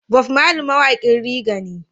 Bob Marley mawaƙin raggea ne